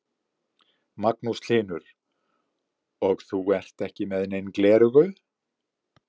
Magnús Hlynur: Og þú ert ekki með nein gleraugu?